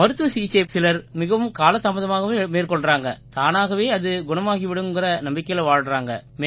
மருத்துவ சிகிச்சையை சிலர் மிகவும் காலதாமதாகவே மேற்கொள்றாங்க தானாகவே அது குணமாகி விடும்ங்கற நம்பிக்கையில வாழ்றாங்க